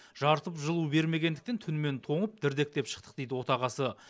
жарытып жылу бермегендіктен түнімен тоңып дірдектеп шықтық дейді отағасы